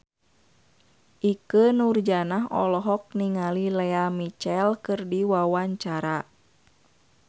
Ikke Nurjanah olohok ningali Lea Michele keur diwawancara